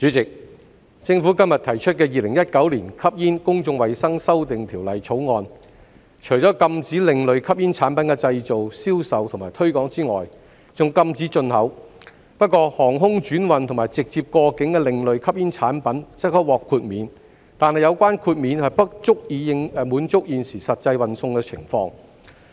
代理主席，政府今天提出的《2019年吸煙條例草案》，除了禁止另類吸煙產品的製造、銷售及推廣外，還禁止進口，不過航空轉運和直接過境的另類吸煙產品則可獲豁免，但有關豁免不足以滿足現時實際運送情況。